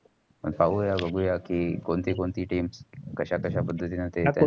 पाऊया बगुया या. कि कोणती कोणती teams कशा कशा पद्धतींनी खेळातात